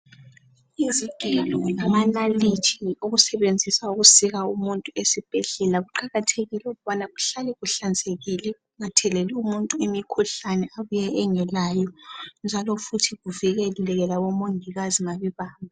Izigelo lamanalithi okusetshenziswa ukusika umuntu esibhedlela kuqakathekile ukubana kuhlale kuhlanzekile kungatheleli umuntu imikhuhlane abuye engelayo njalo futhi kuvikeleke labomongikazi mabebamba.